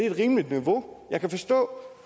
et rimeligt niveau jeg kan forstå